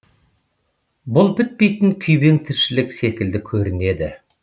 бұл бітпейтін күйбең тіршілік секілді көрінеді